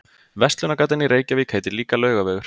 Verslunargatan í Reykjavík heitir líka Laugavegur.